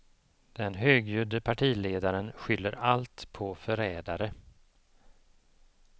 Den högljudde partiledaren skyller allt på förrädare.